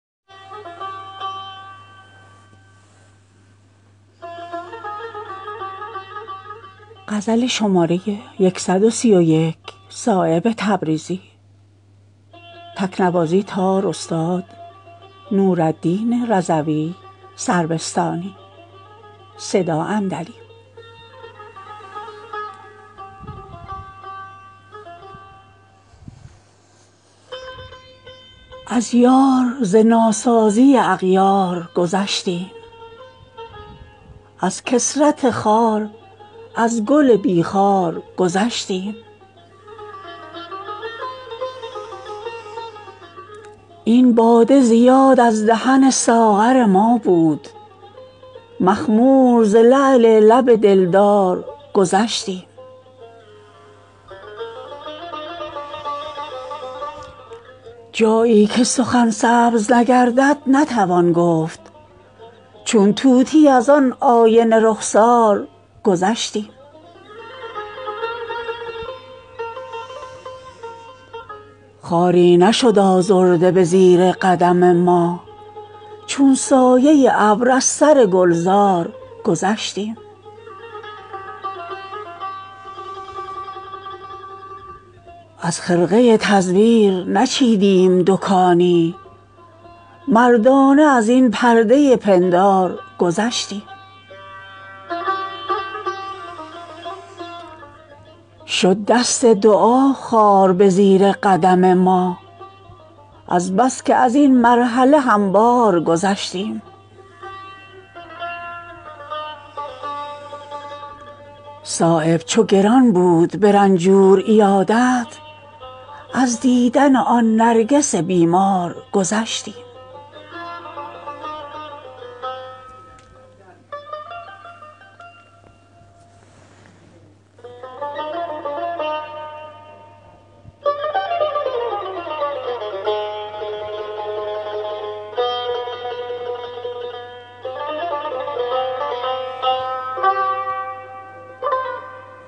تا خیال لب لعل تو مرا در سر بود جگر سوخته ام خال لب کوثر بود عشرت روی زمین بود سراسر از من سایه سرو تو روزی که مرا بر سر بود گرچه از حسن گلوسوز شکر دل می برد سخن تلخ ترا چاشنی دیگر بود سرمه گردید ز شرم تو زبانش در کام شمع هرچند درین بزم زبان آور بود در تمامی شود آیینه مه زنگ پذیر بود ایمن ز کلف تا مه نو لاغر بود ساده لوحی به بلای سیه انداخت مرا زنگ صد پرده به از منت روشنگر بود کاوش عشق به مقصود رسانید مرا بحر شد قطره آبی که درین گوهر بود عشق بحری است که هرکس ز نفس سوختگان به کنار آمد ازین بحر گهر عنبر بود به نظر کار مرا ساخت جوانمردی عشق ورنه این باده ز یاد از دهن ساغر بود کوه غم گرچه نشد کم ز دل ما صایب دل بیتاب همان کشتی بی لنگر بود